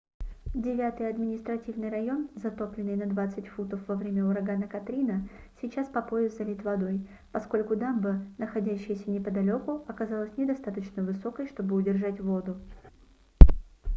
девятый административный район затопленный на 20 футов во время урагана катрина сейчас по пояс залит водой поскольку дамба находящаяся неподалеку оказалась недостаточно высокой чтобы удержать воду